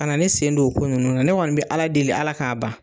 Kana ne sen don o ko ninnu na ne kɔni bɛ Ala deli Ala k'a ban.